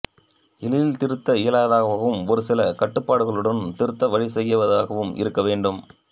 எளிதில் திருத்த இயலாததாகவும் ஒருசில கட்டுப்பாடுகளுடனும் திருத்த வழிசெய்வதாகவும் இருக்க வேண்டும்